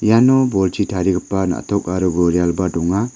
iano bolchi tarigipa na·tok aro gorialba donga.